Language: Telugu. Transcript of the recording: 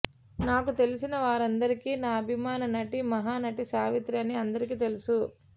నాకు తెలిసిన వారందరికీ నా అభిమాన నటి మహానటి సావిత్రి అని అందరికి తెలుసు